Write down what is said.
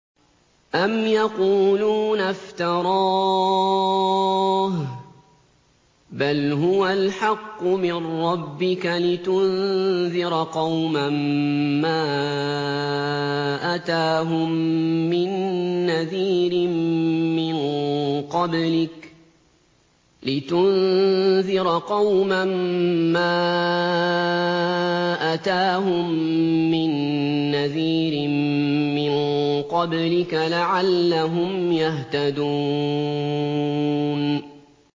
أَمْ يَقُولُونَ افْتَرَاهُ ۚ بَلْ هُوَ الْحَقُّ مِن رَّبِّكَ لِتُنذِرَ قَوْمًا مَّا أَتَاهُم مِّن نَّذِيرٍ مِّن قَبْلِكَ لَعَلَّهُمْ يَهْتَدُونَ